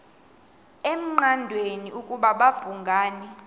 engqanweni ukuba babhungani